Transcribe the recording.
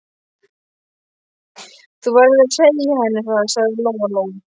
Þú verður að segja henni það, sagði Lóa-Lóa.